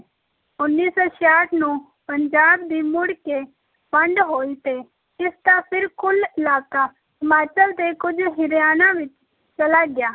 ਉੱਨੀ ਸੌ ਛਿਆਹਠ ਨੂੰ ਪੰਜਾਬ ਦੀ ਮੁੜ ਕੇ ਵੰਡ ਹੋਈ ਤੇ ਇਸ ਦਾ ਫਿਰ ਕੁੱਲ ਇਲਾਕਾ ਹਿਮਾਚਲ ਤੇ ਕੁੱਝ ਹਰਿਆਣਾ ਵਿੱਚ ਚਲਾ ਗਿਆ,